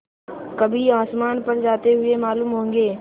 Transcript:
कभी आसमान पर जाते हुए मालूम होंगे